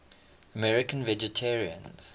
american vegetarians